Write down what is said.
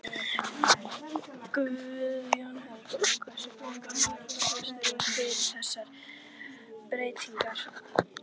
Guðjón Helgason: Hversu langur var fresturinn fyrir þessar breytingar?